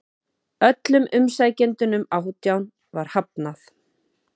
Öllum umsækjendunum átján var hafnað